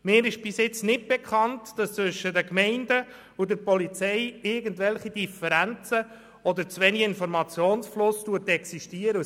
Mir ist bis jetzt nicht bekannt, dass zwischen den Gemeinden und der Polizei irgendwelche Differenzen oder zu wenig Informationsfluss existieren würden.